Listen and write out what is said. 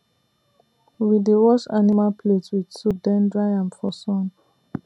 we dey wash animal plate with soap then dry am for sun